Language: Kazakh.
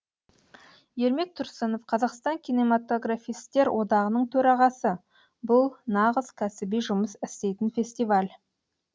ермек тұрсынов қазақстан кинематографистер одағының төрағасы бұл нағыз кәсіби жұмыс істейтін фестиваль